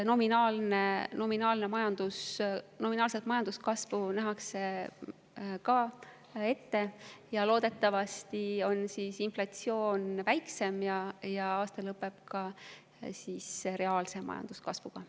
Nominaalset majanduskasvu nähakse ka ette, loodetavasti on inflatsioon väiksem ja aasta lõpeb reaalse majanduskasvuga.